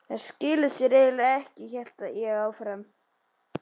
Þær skila sér eiginlega ekki, hélt ég áfram.